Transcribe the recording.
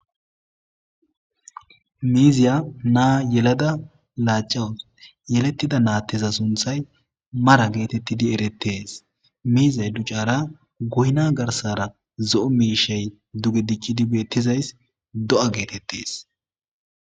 miiziya naa yelada laacawus yelettida naatteza sunthay mara geetettidi erettees miizey duccara goyna garsara zo'o miishey duge diccidi beettizays do'a geetettes